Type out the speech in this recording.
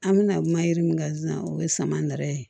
An bɛna kuma yiri min kan sisan o ye sama nɛrɛ ye